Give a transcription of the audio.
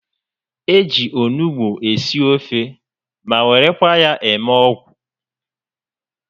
Eji onugbu esi ofe ma werekwa ya eme ọgwụ